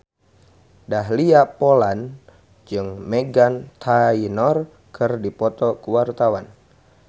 Dahlia Poland jeung Meghan Trainor keur dipoto ku wartawan